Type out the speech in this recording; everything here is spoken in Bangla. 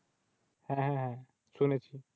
হ্যাঁ হ্যাঁ হ্যাঁ শুনেছি।